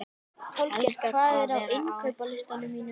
Holger, hvað er á innkaupalistanum mínum?